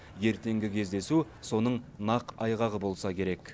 ертеңгі кездесу соның нақ айғағы болса керек